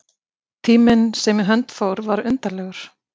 Tíminn sem í hönd fór var undarlegur.